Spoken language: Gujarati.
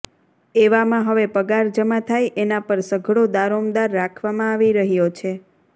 એવામાં હવે પગાર જમા થાય એના પર સઘળો દારોમદાર રાખવામાં આવી રહ્યો છે